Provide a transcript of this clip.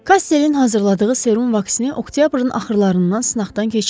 Kastelin hazırladığı serum vaksini oktyabrın axırlarından sınaqdan keçirildi.